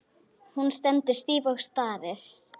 Hann líka.